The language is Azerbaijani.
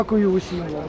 Hamınıza təşəkkür edirəm.